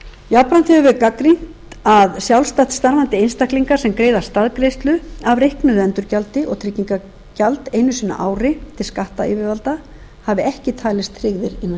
verið gagnrýnt að sjálfstætt starfandi einstaklingar sem greiða staðgreiðslu af reiknuðu endurgjaldi og tryggingagjald einu sinni á ári til skattyfirvalda hafa ekki talist tryggðir innan